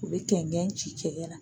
U bɛ kɛnkɛn ci cɛkɛ la.